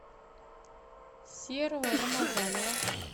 серого рамазанова